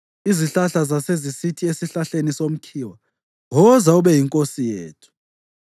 Izihlahla zasezisithi esihlahleni somkhiwa, ‘Woza ube yinkosi yethu.’